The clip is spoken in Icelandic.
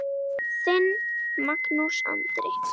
Þinn, Magnús Andri.